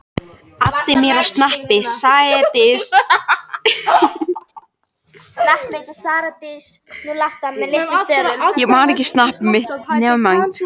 Guð minn góður: sjáðu hvað er að gerast í landinu.